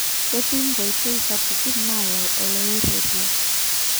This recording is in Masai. Ketii nkoitoi sapukin nayau oloirr`rerio